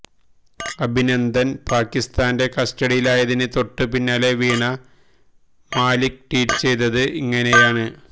അഭിനന്ദന് പാകിസ്താന്റെ കസ്റ്റഡിയിലായതിന് തൊട്ട് പിന്നാലെ വീണ മാലിക് ട്വീറ്റ് ചെയ്തത് ഇങ്ങനെയാണ്